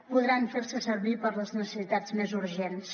podran fer se servir per a les necessitats més urgents